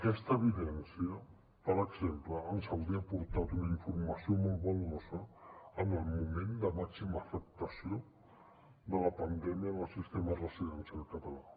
aquesta evidència per exemple ens hauria aportat una informació molt valuosa en el moment de màxima afectació de la pandèmia en el sistema residencial català